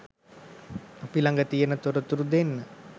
අපි ලග තියෙන තොරතුරැ දෙන්න